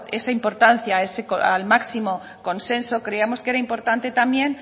esa importancia al máximo consenso creíamos que era importante también